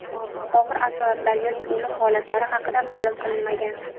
Og‘ir asoratlar yoki o‘lim holatlari haqida ma’lum qilinmagan.